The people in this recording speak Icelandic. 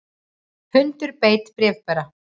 Hundur beit bréfbera